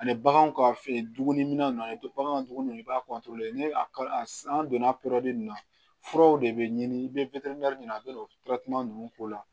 Ani baganw ka fe dumuni an ye bagan tuguni i b'a an donna na furaw de bɛ ɲini i bɛ ɲini a bɛna o ninnu k'o la